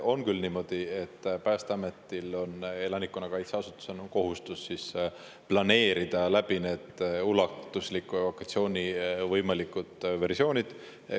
On küll niimoodi, et Päästeametil on elanikkonnakaitse asutusena kohustus planeerida ulatusliku evakuatsiooni võimalikud versioonid.